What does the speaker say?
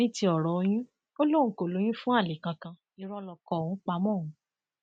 ní ti ọrọ oyún ó lóun kò lóyún fún alẹ kankan irọ lóko òun pa mọ òun